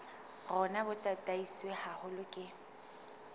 rona bo tataiswe haholo ke